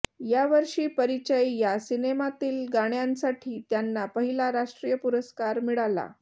यावर्षी परिचय या सिनेमातील गाण्यांसाठी त्यांना पहिला राष्ट्रीय पुरस्कार मिळाला